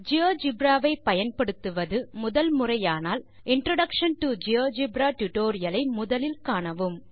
GeoGebra வை பயன்படுத்துவது முதன் முறையானால் இன்ட்ரோடக்ஷன் டோ ஜியோஜிபிரட்யூட்டோரியல் ஐ முதலில் காணவும்